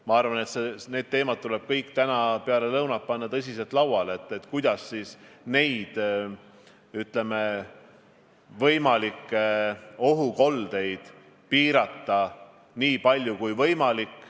Ma arvan, et need teemad tuleb täna peale lõunat panna tõsiselt lauale ja arutada, kuidas võimalikke ohukoldeid piirata nii palju kui võimalik.